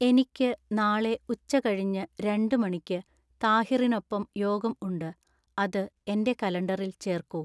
എനിക്ക് നാളെ ഉച്ച കഴിഞ്ഞു രണ്ട് മണിക്ക് താഹിറിനൊപ്പം യോഗം ഉണ്ട് അത് എന്‍റെ കലണ്ടറിൽ ചേർക്കൂ.